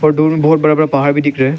दूर में बहुत बड़ा बड़ा पहाड़ भी दिख रहा है।